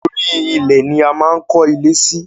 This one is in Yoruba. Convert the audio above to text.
Orí ilẹ̀ ni a máa ń kó ilé sí.